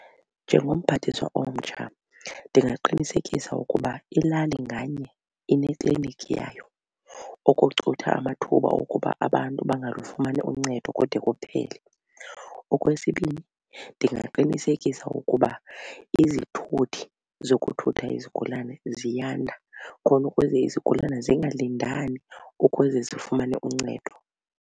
Njengomphathiswa omtsha ndingaqinisekisa ukuba ilali nganye inekliniki yayo ukucutha amathuba okuba abantu bangalufumani uncedo kude kuphele. Okwesibini, ndingaqinisekisa ukuba izithuthi zokuthutha izigulane ziyanda khona ukuze izigulane zingalindani ukuze zifumane uncedo.